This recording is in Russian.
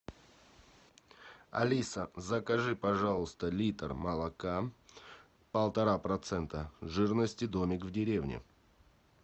алиса закажи пожалуйста литр молока полтора процента жирности домик в деревне